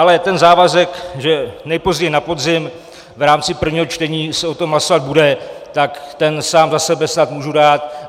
Ale ten závazek, že nejpozději na podzim v rámci prvního čtení se o tom hlasovat bude, tak ten sám za sebe snad můžu dát.